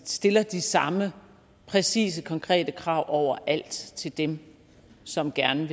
stiller de samme præcise og konkrete krav overalt til dem som gerne